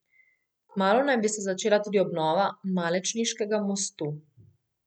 Kmalu naj bi se začela tudi obnova Malečniškega mostu.